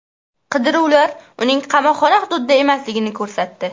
Qidiruvlar uning qamoqxona hududida emasligini ko‘rsatdi.